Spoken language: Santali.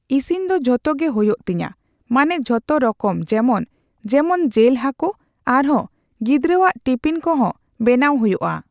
ᱤᱥᱤᱱ ᱫᱚ ᱡᱷᱚᱛᱚ ᱜᱮ ᱦᱳᱭᱳᱜ ᱛᱤᱧᱟᱹ, ᱢᱟᱱᱮ ᱡᱷᱚᱛᱚ ᱨᱚᱠᱚᱢ ᱡᱮᱢᱚᱱ, ᱡᱮᱢᱚᱱ ᱡᱮᱞ ᱦᱟᱠᱳ ᱟᱨᱦᱚᱸ ᱜᱤᱫᱽᱨᱟᱹᱣᱟᱜ ᱴᱤᱯᱤᱱ ᱠᱚᱦᱚᱸᱸ ᱵᱮᱱᱟᱣ ᱦᱳᱭᱳᱜᱼᱟ᱾